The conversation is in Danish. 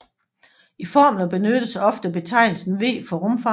I formler benyttes ofte betegnelsen V for rumfanget